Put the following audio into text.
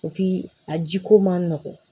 a jiko man nɔgɔn